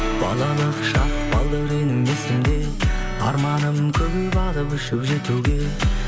балалық шақ балдауренім есімде арманым көп алып ұшып жетуге